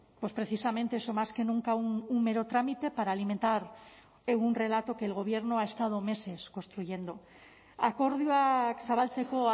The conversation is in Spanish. pues precisamente eso más que nunca un mero trámite para alimentar un relato que el gobierno ha estado meses construyendo akordioak zabaltzeko